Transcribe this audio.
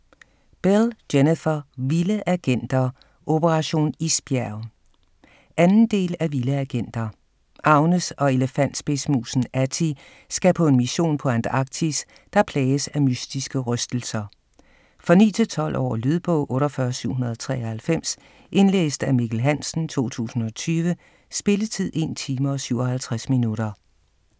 Bell, Jennifer: Vilde agenter - operation isbjerg 2. del af Vilde agenter. Agnes og elefantspidsmusen Attie skal på en mission på Antarktis, der plages af mystiske rystelser. For 9-12 år. Lydbog 48793 Indlæst af Mikkel Hansen, 2020. Spilletid: 1 time, 57 minutter.